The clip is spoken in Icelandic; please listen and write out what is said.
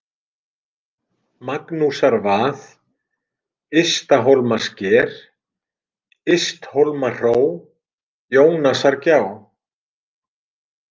Magnúsarvað, Ysthólmasker, Ysthólmahró, Jónasargjá